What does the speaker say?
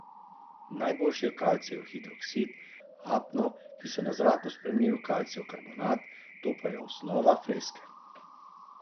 Najboljši je kalcijev hidroksid, apno, ki se na zraku spremeni v kalcijev karbonat, to pa je osnova freske.